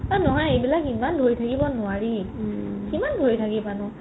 এই নহয় এইবিলাক ইমান ধৰি থাকিব নোৱাৰি কিমান ধৰি থাকিবা নো